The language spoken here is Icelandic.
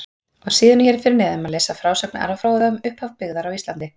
Á síðunni hér fyrir neðan má lesa frásögn Ara fróða um upphaf byggðar á Íslandi.